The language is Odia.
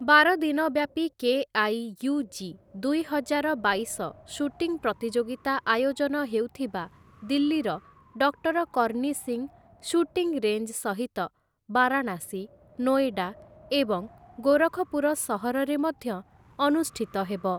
ବାର ଦିନି ବ୍ୟାପି କେ.ଆଇ.ୟୁ.ଜି. ଦୁଇହଜାର ବାଇଶ ସୁଟିଙ୍ଗ୍ ପ୍ରତିଯୋଗିତା ଆୟୋଜନ ହେଉଥିବା ଦିଲ୍ଲୀର doctor Karni Singh shooting range ସହିତ ବାରାଣାସୀ, ନୋଏଡା ଏବଂ ଗୋରଖପୁର ସହରରେ ମଧ୍ୟ ଅନୁଷ୍ଠିତ ହେବ ।